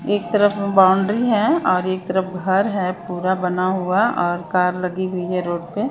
एक तरफ बाउंड्री है और एक तरफ घर है पूरा बना हुआ और कार लगी हुई है रोड पे।